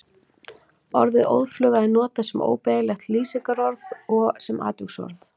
Orðið óðfluga er notað sem óbeygjanlegt lýsingarorð og sem atviksorð.